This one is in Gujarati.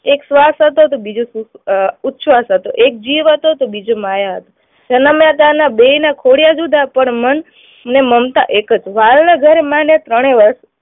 એક શ્વાસ હતો તો બીજો ઉચ્છવાસ હતો, એક જીવ હતો તો બીજો માયા હતો, જનમ્યા ત્યાના બેયના કોળિયા જુદા પણ મન અને મમતા એક જ